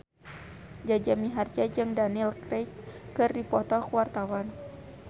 Jaja Mihardja jeung Daniel Craig keur dipoto ku wartawan